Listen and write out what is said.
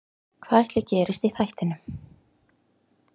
Hvað ætli gerist í þættinum?